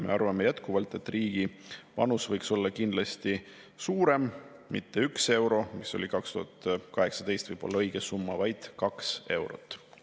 Me arvame jätkuvalt, et riigi panus võiks olla kindlasti suurem: mitte 1 euro, mis oli 2018 võib‑olla õige summa, vaid 2 eurot.